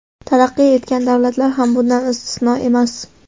Taraqqiy etgan davlatlar ham bundan istisno emas.